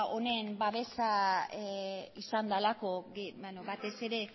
honen babesa izan delako batez ere